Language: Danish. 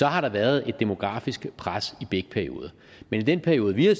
har været et demografisk pres i begge perioder men i den periode vi har